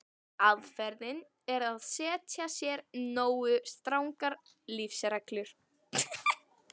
Aðferðin er að setja sér nógu strangar lífsreglur.